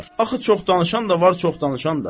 Axı çox danışan da var, çox danışan da.